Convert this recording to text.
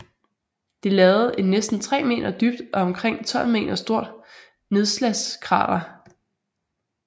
Det lavede et næsten tre meter dybt og omkring 12 meter stort nedslagskrater